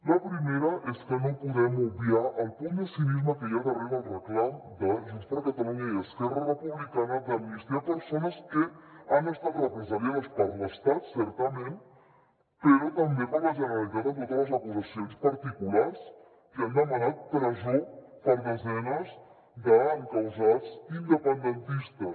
la primera és que no podem obviar el punt de cinisme que hi ha darrere el reclam de junts per catalunya i esquerra republicana d’amnistiar persones que han estat represaliades per l’estat certament però també per la generalitat amb totes les acusacions particulars que han demanat presó per a desenes d’encausats independentistes